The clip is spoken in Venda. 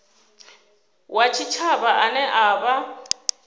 wa tshitshavha ane a vha